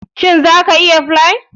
Za ka iya yin flier